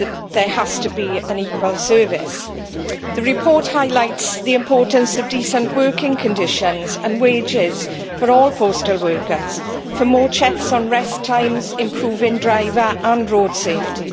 There has to be an equal service. The report highlights the importance of decent working conditions and wages for all postal workers, for more checks on rest times, improving driver and road safety.